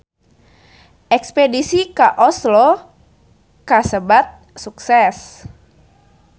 Espedisi ka Oslo kasebat sukses